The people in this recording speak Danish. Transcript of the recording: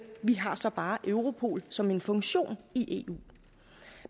vi har så bare europol som en funktion i eu